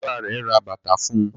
bàbá rẹ rè bàtá fún.